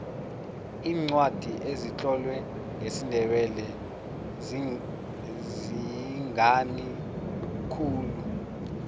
iincwadi ezitlolwe ngesindebele zinqani khulu